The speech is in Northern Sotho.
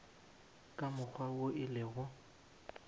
ka mokgwa wo e lego